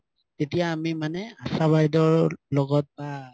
তেতিয়া আমি মানে আশা বাইদেউৰ লগত বা